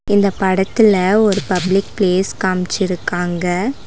இந்த படத்துல ஒரு பப்ளிக் பிளேஸ் காமிச்சிருக்காங்க.